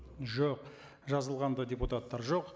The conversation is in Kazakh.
жоқ жазылған да депутаттар жоқ